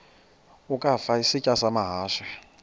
ukafa isitya amahashe